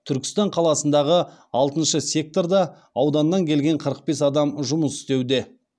түркістан қаласындағы алтыншы секторда ауданнан келген қырық бес адам жұмыс істеуде